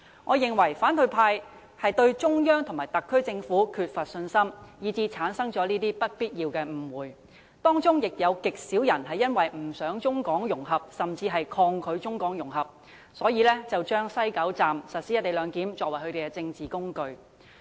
我認為反對派對中央政府和特區政府缺乏信心，以致產生這些不必要的誤會，當中亦由於有極少數人不想甚至抗拒中港融合，因而把西九龍站實施"一地兩檢"安排當作他們的政治工具。